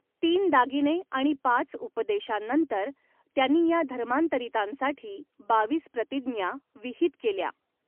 तीन दागिने आणि पाच उपदेशांनंतर त्यांनी या धर्मांतरितांसाठी बावीस प्रतिज्ञा विहित केल्या.